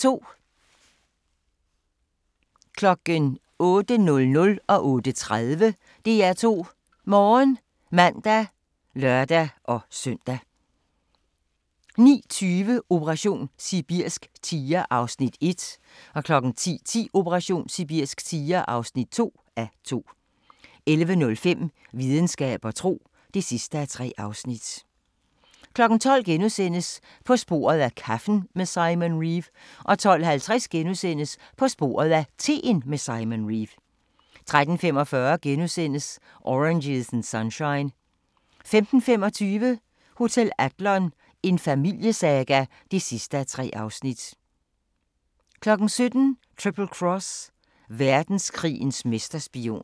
08:00: DR2 Morgen (man og lør-søn) 08:30: DR2 Morgen (man og lør-søn) 09:20: Operation sibirsk tiger (1:2) 10:10: Operation sibirsk tiger (2:2) 11:05: Videnskab og tro (3:3) 12:00: På sporet af kaffen med Simon Reeve * 12:50: På sporet af teen med Simon Reeve * 13:45: Oranges and Sunshine * 15:25: Hotel Adlon – en familiesaga (3:3) 17:00: Triple Cross – verdenskrigens mesterspion